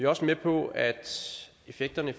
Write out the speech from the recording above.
også med på at effekterne i